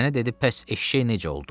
Sənə dedi, bəs eşşək necə oldu?